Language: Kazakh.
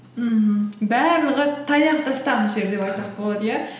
мхм барлығы таяқта тастам жер деп айтсақ болады иә